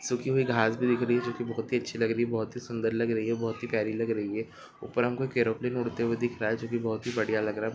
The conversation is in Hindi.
सुखी हुई घास भी दिख रही है जो की बहुत ही अच्छी लग रही हैं बहुत ही सुन्दर लग रही है बहुत ही प्यारी लग रही है ऊपर हमको एक एरोप्लेन उड़ते हुए दिख रहा है जो की बहुत ही बढ़िया लग रहा।